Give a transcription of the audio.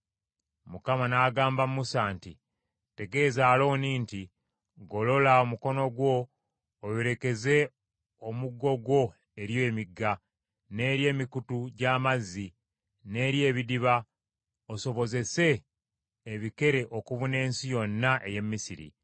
Mukama n’agamba Musa nti, “Tegeeza Alooni nti, ‘Golola omukono gwo oyolekeze omuggo gwo eri emigga, n’eri emikutu gy’amazzi, n’eri ebidiba, osobozese ebikere okubuna ensi yonna ey’e Misiri.’ ”